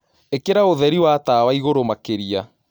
Ìkĩraũthēri wa tawaĩgũrũ makĩrĩa